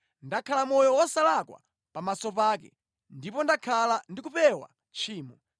Ndakhala moyo wosalakwa pamaso pake ndipo ndakhala ndi kupewa tchimo.